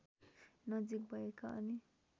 नजिक भएका अनि